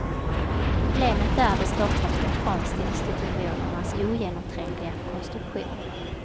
Problemet är de stockholmska konstinstitutionernas ogenomträngliga konstruktion.